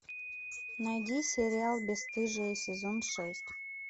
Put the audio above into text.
найди сериал бесстыжие сезон шесть